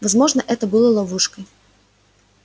возможно это было ловушкой